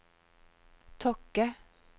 Tokke